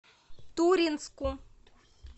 туринску